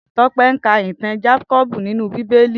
Tope n kà itàn Jákòbú ninú Bibéli